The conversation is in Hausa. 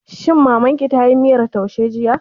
Shin Mamar ki tayi miyar taushe jiya?